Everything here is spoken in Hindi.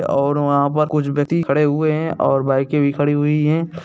और वहाँ पर कुछ व्यक्ति खड़े हुए है और बाईकें भी खड़ी हुई है।